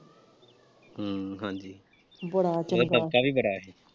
ਹਮ ਹਾਂਜੀ ਉਹਦਾ ਦੱਬਕਾ ਵੀ ਬੜਾ ਸੀ।